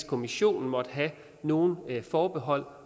kommissionen måtte have nogen forbehold